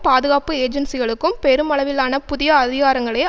பாதுகாப்பு ஏஜென்சிகளுக்கும் பெருமளவிலான புதிய அதிகாரங்களை